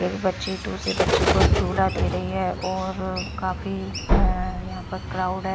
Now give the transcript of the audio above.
एक बच्ची दूसरी बच्ची को झूला दे रही है और काफी अह यहां पर क्राउड है।